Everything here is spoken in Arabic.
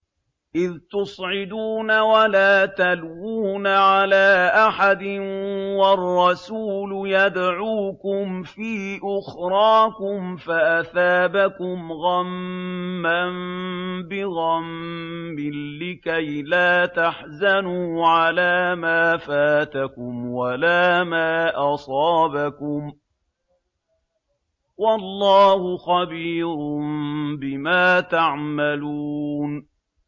۞ إِذْ تُصْعِدُونَ وَلَا تَلْوُونَ عَلَىٰ أَحَدٍ وَالرَّسُولُ يَدْعُوكُمْ فِي أُخْرَاكُمْ فَأَثَابَكُمْ غَمًّا بِغَمٍّ لِّكَيْلَا تَحْزَنُوا عَلَىٰ مَا فَاتَكُمْ وَلَا مَا أَصَابَكُمْ ۗ وَاللَّهُ خَبِيرٌ بِمَا تَعْمَلُونَ